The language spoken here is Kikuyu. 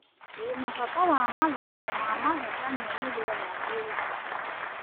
Ndĩ na bata wa mathako ma mathekania nĩgetha njĩre Sam